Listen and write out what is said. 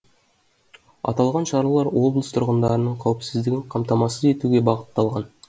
аталған шаралар облыс тұрғындарының қауіпсіздігін қамтамасыз етуге бағытталған